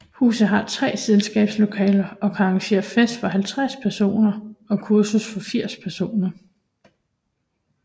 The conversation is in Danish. Huset har 3 selskabslokaler og kan arrangere fest for 50 personer og kursus for 80 personer